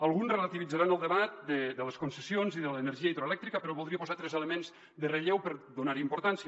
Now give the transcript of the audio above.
alguns relativitzaran el debat de les concessions i de l’energia hidroelèctrica però voldria posar tres elements en relleu per donar·hi importància